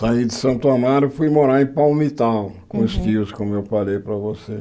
Saí de Santo Amaro e fui morar em Palmitau, Uhum com os tios, como eu falei para você.